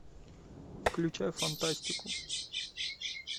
включай фантастику